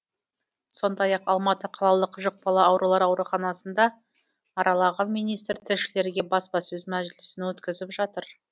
сондай ақ алматы қалалық жұқпалы аурулар ауруханасын да аралаған министр тілшілерге баспасөз мәжілісін өткізіп жатыр